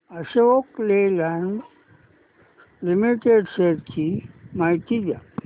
Ashok Leyland limited shares ची माहिती द्या